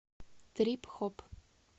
трип хоп